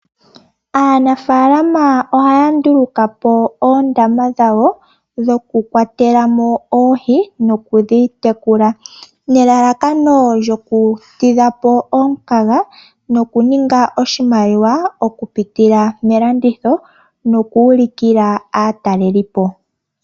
Aanafaalama ohaya nduulukapo oondama dhawo dhoku kwatelamo oohi nokudhi tekula, nelalakano lyoku tidhapo omukaga nokuninga oshimaliwa okupitala melanditho nokuulukila aatalelipo.